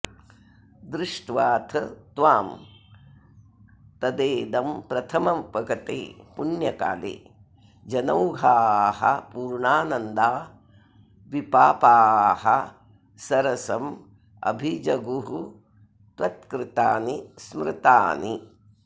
दृष्ट्वाथ त्वां तदेदम्प्रथममुपगते पुण्यकाले जनौघाः पूर्णानन्दा विपापाः सरसमभिजगुस्त्वत्कृतानि स्मृतानि